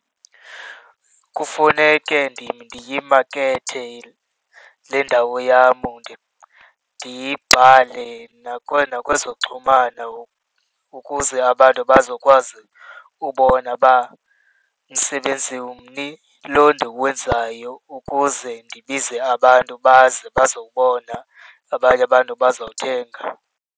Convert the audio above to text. Kufuneke ndiyimakethe le ndawo yam, ndiyibhale nakwezoxhumano ukuze abantu bazokwazi ubona uba msebenzi umni lo ndiwenzayo ukuze ndibize abantu baze bazobona abanye abantu bazothenga.